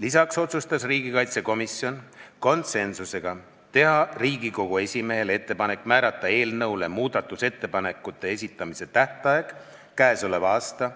Lisaks otsustas riigikaitsekomisjon konsensusega teha Riigikogu esimehele ettepaneku määrata eelnõu muudatusettepanekute esitamise tähtajaks k.a